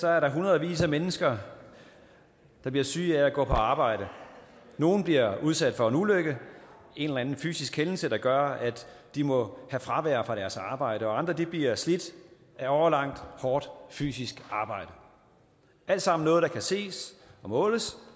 er der hundredvis af mennesker der bliver syge af at gå på arbejde nogle bliver udsat for en ulykke en eller anden fysisk hændelse der gør at de må have fravær fra deres arbejde og andre bliver slidt af årelangt hårdt fysisk arbejde alt sammen noget der kan ses og måles